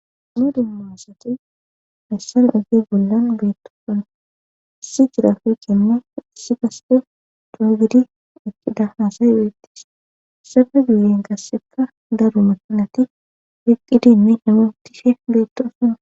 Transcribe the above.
duma duma asati hayssana ife bollan beetokan issi jirafu kenne issi gaste duugidi eqqida haasay beettis sada guiyin gasseka daru makinati heqqidinne imotife beetto asana